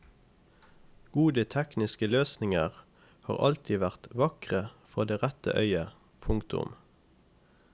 Gode tekniske løsninger har alltid vært vakre for det rette øyet. punktum